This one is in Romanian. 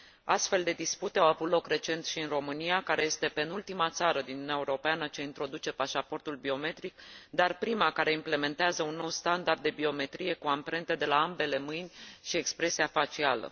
Astfel de dispute au avut loc recent și în România, care este penultima țară din Uniunea Europeană ce introduce pașaportul biometric, dar prima care implementează un nou standard de biometrie cu amprente de la ambele mâini și expresia facială.